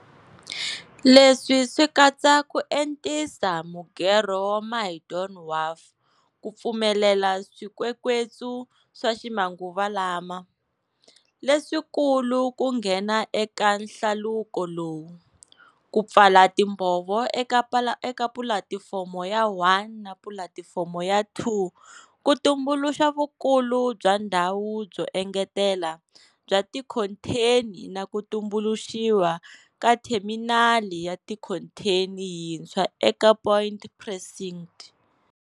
Leswi swi katsa ku entisa mugerho wa Maydon Wharf ku pfumelela swikwekwetsu swa ximanguvalama, leswikulu ku nghena eka hlaluko lowu, ku pfala timbhovo eka Pulatifomo ya 1 na Pulatifomo ya 2 ku tumbuluxa vukulu bya ndhawu byo engetela bya tikhontheni na ku tumbuluxiwa ka theminali ya tikhontheni yintshwa eka Point Precinct.